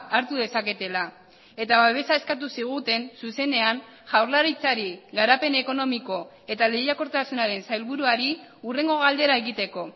hartu dezaketela eta babesa eskatu ziguten zuzenean jaurlaritzari garapen ekonomiko eta lehiakortasunaren sailburuari hurrengo galdera egiteko